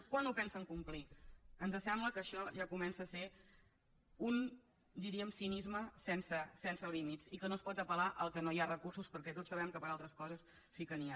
quan ho pensen complir ens sembla que això ja comença a ser un diríem cinisme sense límits i que no es pot apel·lar al fet que no hi ha recursos perquè tots sabem que per a altres coses sí que n’hi ha